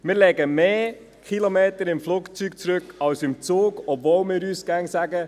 Wir legen mehr Kilometer im Flugzeug zurück als im Zug, obwohl wir uns immer sagen: